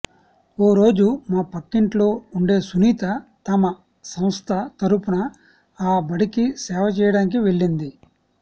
ఓ రోజు మా పక్కింట్లో ఉండే సునీత తమ సంస్థ తరఫున ఆ బడికి సేవ చేయడానికి వెళ్లింది